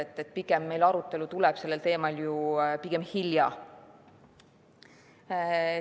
Pigem tuleb meie arutelu sellel teemal hilja.